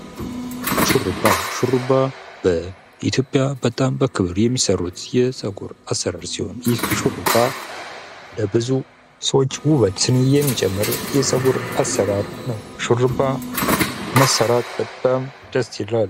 ሹሩባ በ ኢትዮጵያ በጣም በክብር የሚሰሩት የጸጉር አሠራር ሲሆን፤ ይህ ሹሩባ ለብዙ ሰዎች ውበትን የሚጨምር የፀጉር አሠራር ነው። ሹሩባ መሰራት በጣም ደስ ይላል።